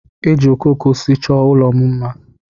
Eji okooko osisi chọọ ụlọ m mma.